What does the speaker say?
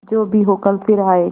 जो भी हो कल फिर आएगा